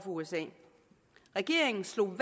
usa regeringen slog